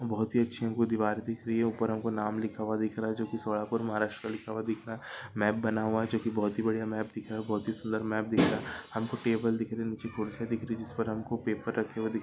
बहुत ही अच्छी हमको दीवार दिख रही है ऊपर हमको नाम लिखा हुआ दिख रहा है जो की सोलापूर महाराष्ट्र लिखा हुआ दिख रहा मॅप बना हुआ जो की बहुत ही बड़िया मॅप दिख रहा बहुत ही सुंदर मॅप दिख रहा है। हमको टेबल दिख रहा नीचे कुर्सिया दिख रही जिस पर हमको पेपर रखे हुए दिख--